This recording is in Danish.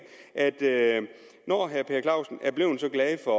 at når herre per clausen er blevet så glad for